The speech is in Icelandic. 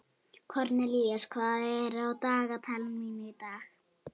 Kornelíus, hvað er á dagatalinu mínu í dag?